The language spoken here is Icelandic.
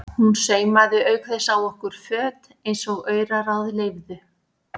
Hún saumaði auk þess á okkur föt eins og auraráð leyfðu.